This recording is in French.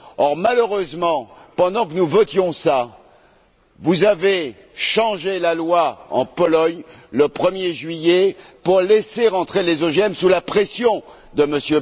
Or, malheureusement, pendant que nous votions cela, vous avez changé la loi en Pologne le 1er juillet pour laisser entrer les OGM sous la pression de M.